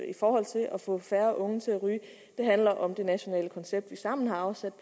i forhold til at få færre unge til at ryge det handler om det nationale koncept vi sammen har afsat